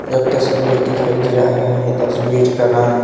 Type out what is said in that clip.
एक तस्वीर दिखाई दे रहा है तस्वीर का नाम--